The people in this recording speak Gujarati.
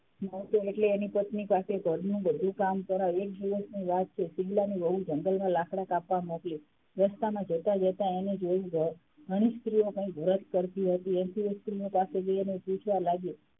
એની પત્ની પાસે ઘરનું બધું કામ કરાવે એક દિવસ ની વાત છે શિવલાની વહુ જંગલમાં લાકડાં કાપવા મોકલી રસ્તામાં જતાં -જતાં એને જોયું ઘણી સ્ત્રીઓ કઈ વ્રત કરતી હતી એમ કરીને એ સ્ત્રીઓ પાસેથી એને પૂછવા લાગ્યું,